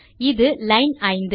இது லைன் 5